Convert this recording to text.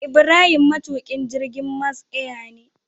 Ibrahim matukin jirgin Max air ne